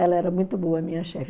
Ela era muito boa, minha chefe.